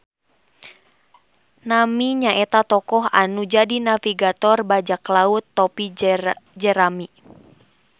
Nami nyaeta tokoh anu jadi navigator bajak laut topi jerami